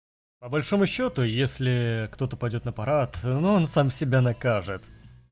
по большому счёту если кто-то пойдёт на парад но он сам себя накажет